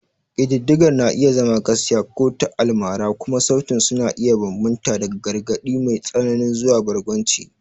Ƙididdigar na iya zama gaskiya ko ta almara, kuma sautin su na iya bambanta daga gargaɗi mai tsanani zuwa barkwanci.